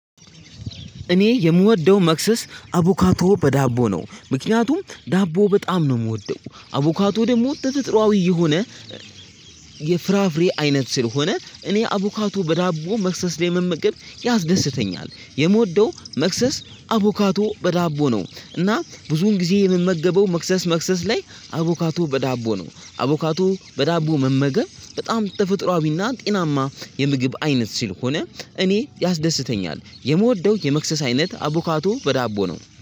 እኔ የምወደው መክሰስ አቡካቶ በዳቦ ነው ምክንያቱም ዳቦ በጣም ነው ምወደው አቡካቶ ደግሞ ተፈጥራዊ የሆነ የፍራፍሬ አይነት ስለሆነ እኔ አቡካቶ በዳቦ መክሰስ ላይ መመገብ ያስደስተኛል። የምወደው መክሰስ አቡካቶ በዳቦ ነው። እና ብዙውን ጊዜ የምመገበው መክሰስ መክሰስ ላይ አቮካቶ በዳቦ ነው አቮካቶ በዳቦ መመገብ በጣም ተፈጥሮአዊና ጤናማ የምግብ አይነት ሲልሆነ እኔ ያስደስተኛል። የምወደው የመክሰስ አይነት አቦካቶ በዳቦ ነው